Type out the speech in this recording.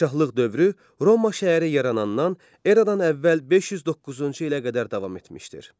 Padşahlıq dövrü Roma şəhəri yaranandan eradan əvvəl 509-cu ilə qədər davam etmişdir.